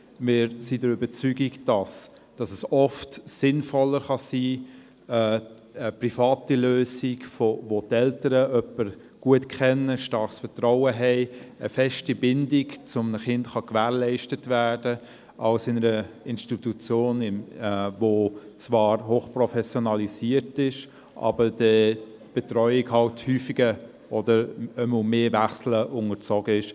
Wir sind der Überzeugung, dass eine private Lösung, wo die Eltern jemanden gut kennen, ein starkes Vertrauen haben, eine feste Bindung zum Kind gewährleistet werden kann, oft sinnvoller sein kann als die Betreuung in einer Institution, die zwar hoch professionalisiert ist, wo aber die Betreuung halt häufig mehr Wechseln unterworfen ist.